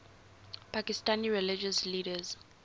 pakistani religious leaders